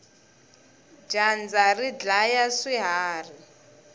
dyandza ri dlaya swiharhi